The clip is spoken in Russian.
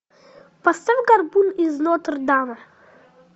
поставь горбун из нотр дама